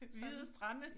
Hvide strande